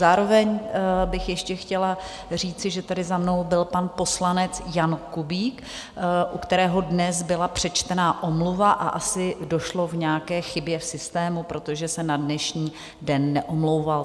Zároveň bych ještě chtěla říci, že tady za mnou byl pan poslanec Jan Kubík, u kterého dnes byla přečtena omluva, a asi došlo k nějaké chybě v systému, protože se na dnešní den neomlouval.